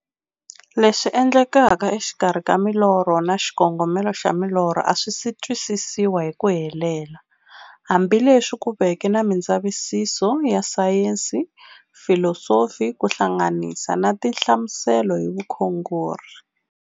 Leswi endlekaka exikarhi ka milorho na xikongomelo xa milorho a swisi twisisiwa hi ku helela, hambi leswi ku veke na mindzavisiso ya sayensi, filosofi ku hlanganisa na tinhlamuselo hi vukhongori.